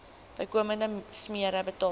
bykomende smere betaal